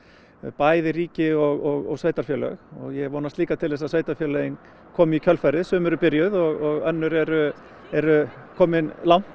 bæði ríki og sveitarfélög ég vonast líka til þess að sveitarfélögin komi í kjölfarið sum eru byrjuð og önnur eru eru komin langt